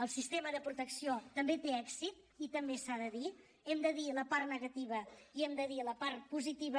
el sistema de protecció també té èxit i també s’ha de dir hem de dir la part negativa i hem de dir la part positiva